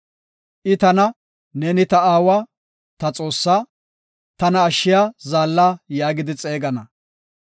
I tana, ‘Neeni ta aawa, ta Xoossaa; tana ashshiya zaalla’ yaagidi xeegana.